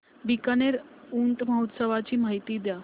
बीकानेर ऊंट महोत्सवाची माहिती द्या